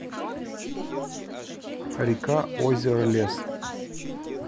рекаозеролес